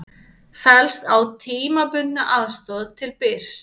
Fellst á tímabundna aðstoð til Byrs